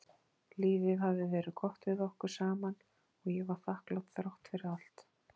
Lífið hafði verið gott við okkur saman og ég var þakklát þrátt fyrir allt.